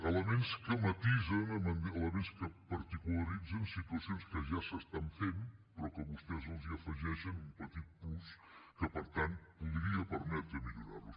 elements que matisen elements que particularitzen situacions que ja s’estan fent però que vostès hi afegeixen un petit plus que per tant podria permetre millorar los